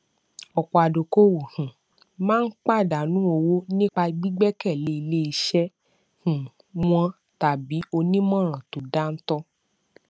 ọpọ adókòówò um máa ń pàdánù owó nípa gbígbẹkẹlé iléiṣẹ um wọn tàbí onímọràn tó dáńtọ